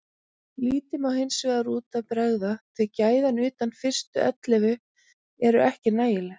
Lítið má hinsvegar út af bregða því gæðin utan fyrstu ellefu eru ekki nægileg.